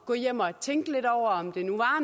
at gå hjem og tænke lidt over om det nu